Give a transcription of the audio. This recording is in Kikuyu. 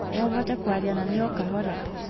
No ũhote kwaria na niĩ o kahora?